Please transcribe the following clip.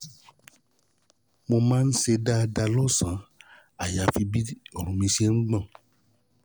Mo um máa um ń ṣe dáadáa lọ́sàn-án àyàfi bí ọrùn mi ṣe máa um ń gbọ̀n